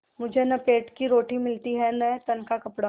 मुझे न पेट की रोटी मिलती है न तन का कपड़ा